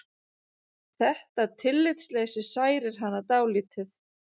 Þetta tillitsleysi særir hana dálítið.